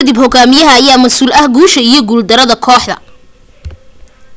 intaas kadib hogaamiyaha ayaa ka masuul ah guusha iyo guul darada kooxda